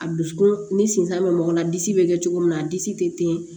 A dusukun ni sen tan bɛ mɔgɔ la disi bɛ kɛ cogo min na a disi tɛ ten